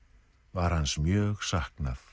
var hans mjög saknað